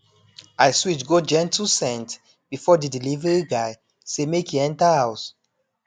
i switch go gentle scent before the delivery guy say make e enter house